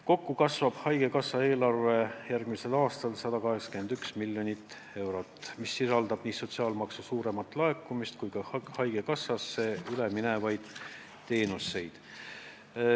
Kokku kasvab haigekassa eelarve järgmisel aastal 181 miljonit eurot, mis sisaldab nii sotsiaalmaksu suuremat laekumist kui ka haigekassale üle minevaid teenuseid.